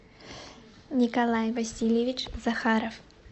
николай васильевич захаров